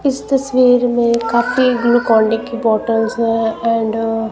इस तस्वीर में काफी ग्लूकोनडी की बॉटल्स हैं एंड --